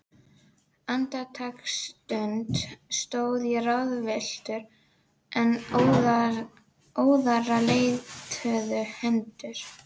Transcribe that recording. Andartaksstund stóð ég ráðvilltur, en óðara leituðu hendur